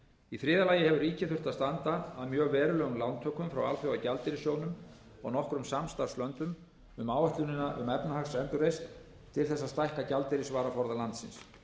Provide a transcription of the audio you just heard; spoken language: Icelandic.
í þriðja lagi hefur ríkið þurft að standa að mjög verulegum lántökum frá alþjóðagjaldeyrissjóðnum og nokkrum samstarfslöndum um áætlunina um efnahagsendurreisn til þess að stækka gjaldeyrisvaraforða landsins